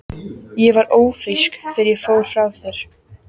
Ég var ófrísk þegar ég fór frá þér.